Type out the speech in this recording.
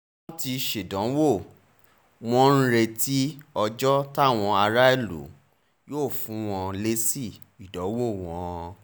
wọ́n ti ṣèdánwò wọ́n ń retí ọjọ́ táwọn aráàlú yóò fún wọn lésì ìdánwò wọn